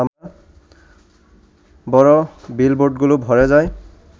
বড় বিলবোর্ডগুলো ভরে যায়